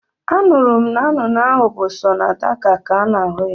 Anụrụ m na nnụnụ ahụ bụ sọ na Dhaka ka a na-ahụ ya